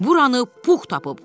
Buranı Puh tapıb.